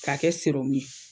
K'a kɛ ye